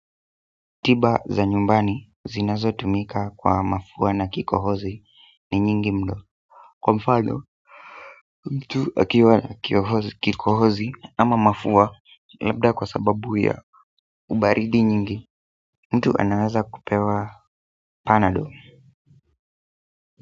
Tiba za nyumbani zinazotumika kwa mafua na kikohozi ni nyingi mno kwa mfano mtu akiwa na kikohozi ama mafua labda kwa sababu ya ubaridi nyingi Mtu anaweza kupewa panado.